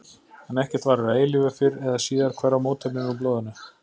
En ekkert varir að eilífu, fyrr eða síðar hverfa mótefnin úr blóðinu.